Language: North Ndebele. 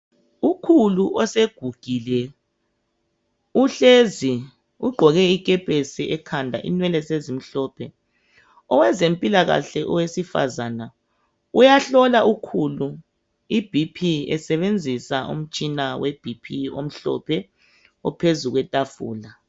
Ukhulu osegugile uhlezi ugqoke ikepesi ekhanda inwele sezimhlophe Owezempilakahle owesifazana uyahlola ukhulu i BP esebenzisa umtshina we BP omhlophe ophezu kwetafula .